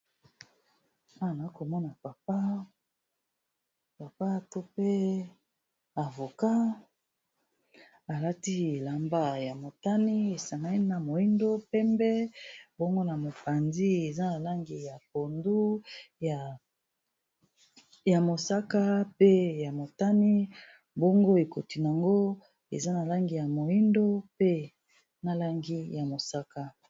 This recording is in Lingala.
awa nakomona papa to pe avocat alati elamba ya motani esangani na moyindo pembe bongo na mopanzi eza na langi ya pondu ya mosaka pe ya motani bongo ekoti nango eza na langi ya moyindo pe na langi ya mosaka.